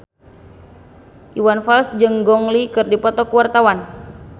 Iwan Fals jeung Gong Li keur dipoto ku wartawan